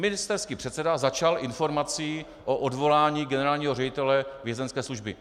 Ministerský předseda začal informací o odvolání generálního ředitele Vězeňské služby.